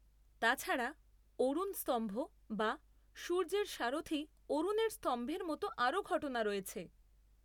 তা ছাড়া, অরুণ স্তম্ভ, বা সূর্যের সারথী অরুণের স্তম্ভের মতো আরও ঘটনা রয়েছে।